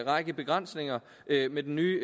række begrænsninger med den nye